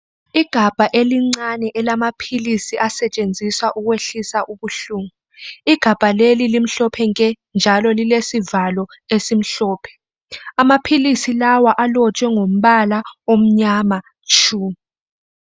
Igabha elincane elamaphilisi asetshenziswa ukwehlisa ubuhlungu. Igabha leli limhlophe nke. Njalo lilesivalo esimhlophe , amaphilisi lawa alotshwe ngombala omnyama tshu.